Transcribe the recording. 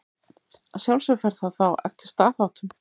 Að sjálfsögðu fer það þá eftir staðháttum.